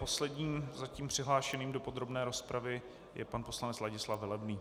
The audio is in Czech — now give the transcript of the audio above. Posledním zatím přihlášeným do podrobné rozpravy je pan poslanec Ladislav Velebný.